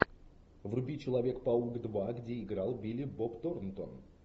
вруби человек паук два где играл билли боб торнтон